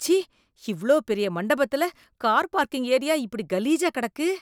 ச்சீ இவ்ளோ பெரிய மண்டபத்துல கார் பார்க்கிங் ஏரியா இப்படி கலீஜா கிடக்கு.